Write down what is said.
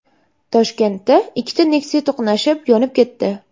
Toshkentda ikkita Nexia to‘qnashib, yonib ketdi .